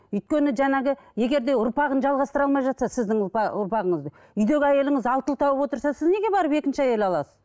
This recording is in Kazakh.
өйткені жаңағы егер де ұрпағын жалғастыра алмай жатса сіздің ұрпағыңызды үйдегі әйеліңіз алты ұл тауып отырса сіз неге барып екінші әйел аласыз